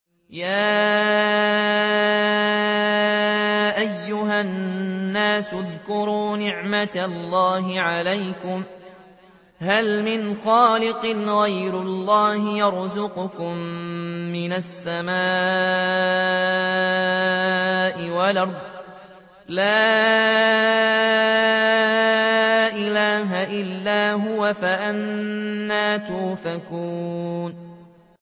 يَا أَيُّهَا النَّاسُ اذْكُرُوا نِعْمَتَ اللَّهِ عَلَيْكُمْ ۚ هَلْ مِنْ خَالِقٍ غَيْرُ اللَّهِ يَرْزُقُكُم مِّنَ السَّمَاءِ وَالْأَرْضِ ۚ لَا إِلَٰهَ إِلَّا هُوَ ۖ فَأَنَّىٰ تُؤْفَكُونَ